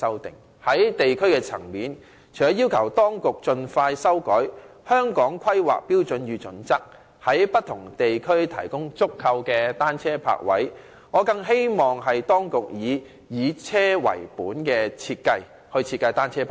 在地區層面，除了要求當局盡快修改《香港規劃標準與準則》，在不同地區提供足夠的單車泊位外，我更希望當局可以按"以車為本"的原則設計單車泊位。